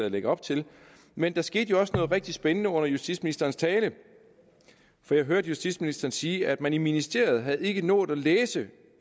lægger op til men der skete jo også noget rigtig spændende under justitsministerens tale jeg hørte justitsministeren sige at man i ministeriet ikke har nået at læse